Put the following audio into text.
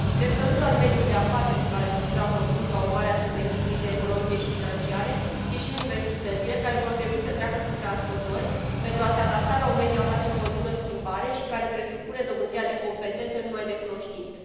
Cred că nu doar mediul de afaceri se va restructura profund ca urmare a survenirii crizei economice și financiare, ci și universitățile, care vor trebui să treacă prin transformări pentru a se adapta la un mediu aflat în continuă schimbare și care presupune dobândirea de competențe, nu numai de cunoștințe.